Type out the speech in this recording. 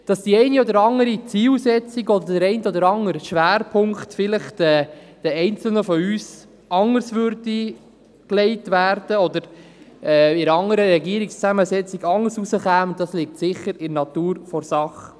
Dass einzelne von uns das eine oder andere Ziel oder den einen oder anderen Schwerpunkt vielleicht anders setzen würden oder diese bei einer anderen Zusammensetzung des Regierungsrates anders aussähen, liegt sicher in der Natur der Sache.